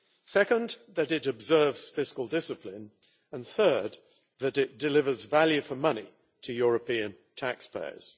Second, that it observes fiscal discipline and, third, that it delivers value for money to European taxpayers.